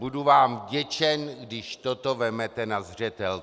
Budu vám vděčen, když toto vezmete na zřetel.